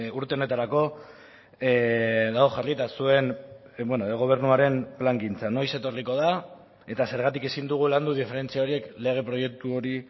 urte honetarako dago jarrita zuen gobernuaren plangintza noiz etorriko da eta zergatik ezin dugu landu diferentzia horiek lege proiektu hori